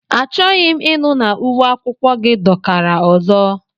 Achọghị m ịnụ na uwe akwụkwọ gị dọkara ọzọ!